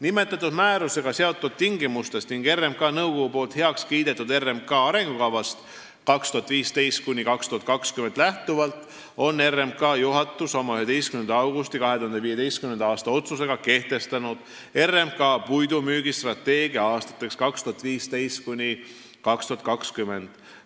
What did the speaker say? Nimetatud määrusega seatud tingimustest ning RMK nõukogu heakskiidetud RMK arengukavast 2015–2020 lähtuvalt on RMK juhatus oma 11. augusti 2015. aasta otsusega kehtestanud RMK puidumüügistrateegia aastateks 2015–2020.